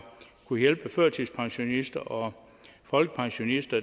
kunnet hjælpe førtidspensionister og folkepensionister